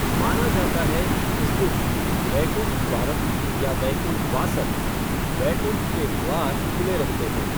माना जाता है कि इस दिन वैकुंठ द्वारम या वैकुंठ वासल, 'वैकुंठ के द्वार' खुले रहते हैं।